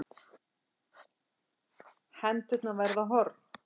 Hendurnar verða horn.